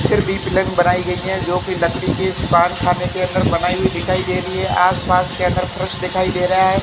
फिर लेन पलंग बनाई गयी है जो कि लकड़ी के दुकान खाने के बनाई हुई दिखाई दे रही है आस पास के अंदर फ्रश दिखाई दे रहा है।